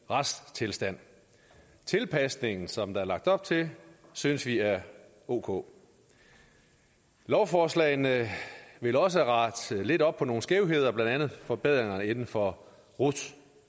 retstilstand tilpasningen som der er lagt op til synes vi er ok lovforslagene vil også rette lidt op på nogle skævheder blandt andet forbedringer inden for rut